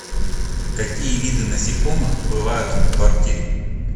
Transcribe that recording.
какие виды насекомых бывают в квартире